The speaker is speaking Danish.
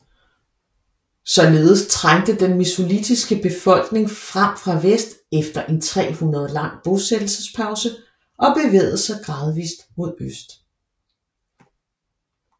Således trængte den mesolitiske befolkning frem fra vest efter en 300 år lang bosættelsespause og bevægede sig gradvist mod øst